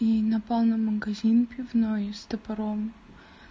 и напал на магазин пивной с топором